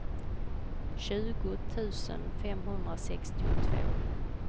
tjugo tusen femhundrasextiotvå